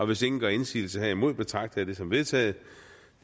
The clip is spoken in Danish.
hvis ingen gør indsigelse herimod betragter jeg det som vedtaget